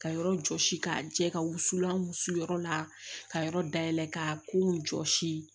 Ka yɔrɔ jɔsi k'a jɛ ka wusulan wusu yɔrɔ la ka yɔrɔ dayɛlɛ ka kow jɔsi